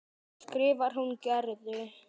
skrifar hún Gerði.